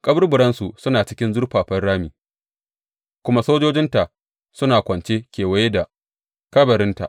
Kaburburansu suna cikin zurfafan rami kuma sojojinta suna kwance kewaye da kabarinta.